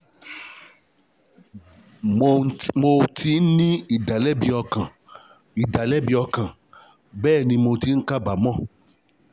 Mò ti ń ní ìdálẹ́bi ọkàn, ìdálẹ́bi ọkàn, bẹ́ẹ̀ ni, mò ń kábàámọ̀